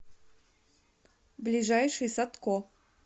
ближайший садко